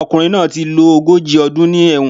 Ọkùnrin náà ti lo ogójì ọdún ní ẹ̀wọ̀n